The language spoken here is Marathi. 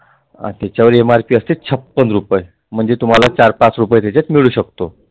अट्ठेचाळीस MRP म्हणजे तुम्हाला चार पाच रुपये त्याच्यात मिळु शकतो.